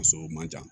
A sɔrɔ man ca